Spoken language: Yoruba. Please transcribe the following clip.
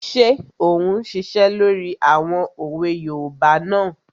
Ṣé ò ún ṣiṣẹ́ lórí àwọn òwe yoòbá náà?